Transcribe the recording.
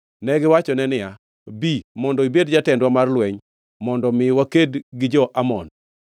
Negiwachone niya, “Bi mondo ibed jatendwa mar lweny, mondo mi waked gi jo-Amon.”